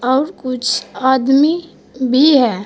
और कुछ आदमी भी है।